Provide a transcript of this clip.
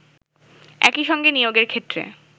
একই সঙ্গে নিয়োগের ক্ষেত্রে